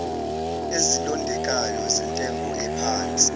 ezilondekayo zentengo ephansi